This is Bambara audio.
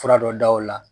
Fura dɔ da o la